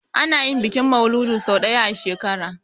Ana yin bikin mauludi sau daya a shekara